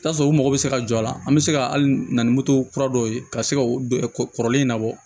I bi taa sɔrɔ u mago be se ka jɔ a la an be se ka hali na ni moto kura dɔw ye ka se ka kɔrɔlen in labɔ